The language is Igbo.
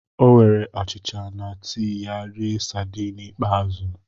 O were achịcha na tii ya rie sadiin ikpeazụ.